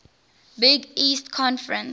big east conference